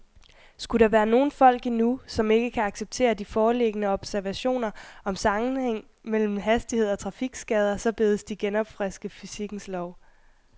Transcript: Skulle der være nogle folk endnu, som ikke kan acceptere de foreliggende observationer om sammenhæng mellem hastighed og trafikskader, så bedes de genopfriske fysikkens lov.